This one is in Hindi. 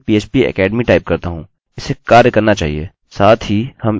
साथ ही हम इस or die फीचर का उपयोग कर सकते हैं